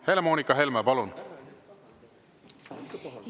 Helle-Moonika Helme, palun!